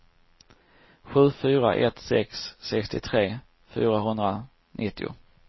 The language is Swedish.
sju fyra ett sex sextiotre fyrahundranittio